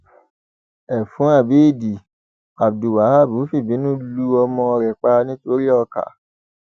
ẹfun abéèdì abdulwaab fìbínú lu ọmọ rẹ pa nítorí ọkà